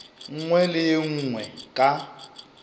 nngwe le ye nngwe ka